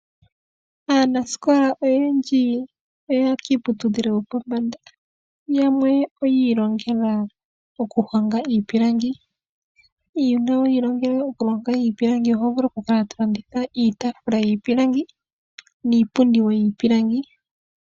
Aanasikola oyendji oya ya kiiputudhilo yopombanda yamwe oyi ilongela okuhonga iipilangi. Uuna wiilongela okuhonga iipilangi oho vulu oku kala to landitha iitaafula yiipilangi niipundi yiipilangi.